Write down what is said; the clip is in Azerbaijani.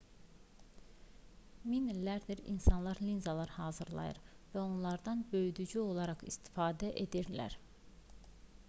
min illərdir insanlar linzalar hazırlayır və onlardan böyüdücü olaraq istifadə edirlər